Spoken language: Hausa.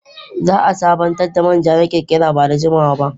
Zaa sabantar da manja na kirkira ba da jimawaba.